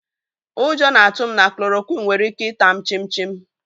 Ụjọ na-atụ m na klòròkwịn nwere ike ità m chím chim